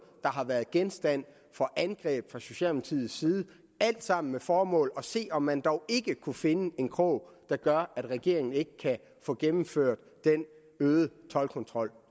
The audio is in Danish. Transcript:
der har været genstand for angreb fra socialdemokratiets side alt sammen med det formål at se om man dog ikke kunne finde en krog der gør at regeringen ikke kan få gennemført den øgede toldkontrol